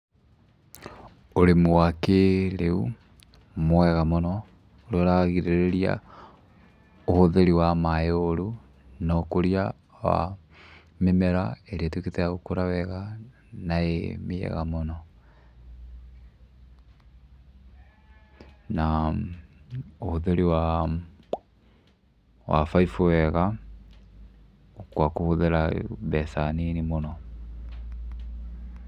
Ũrĩmi wa kĩrĩu mwega mũno, ũrĩa ũragirĩrĩria ũhũthĩri wa maĩ ũru na ũkũria wa mĩmera ĩrĩa ĩtuĩkĩte ya gũkũra wega, na ĩĩ mĩega mũno na ũhũthĩri wa baibũ wega gwa kũhũthĩra mbeca nini mũno.